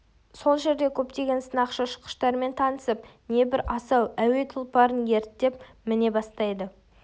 сол жерде көптеген сынақшы-ұшқыштармен танысып небір асау әуе тұлпарын ерттеп міне бастайды